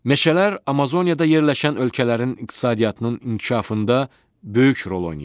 Meşələr Amazoniyada yerləşən ölkələrin iqtisadiyyatının inkişafında böyük rol oynayır.